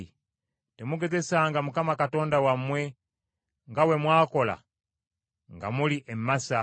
Temugezesanga Mukama Katonda wammwe, nga bwe mwakola nga muli e Masa.